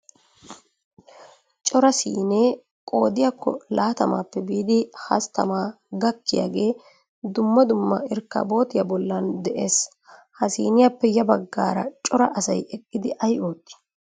Cora siinee qoodiyakko latamaappe biidi hasttamaa gakkiyagee dumma dumma irkkabootiya bollan de'ees. Ha siiniyappe ya baggaara cora asay eqqidi ay ootti?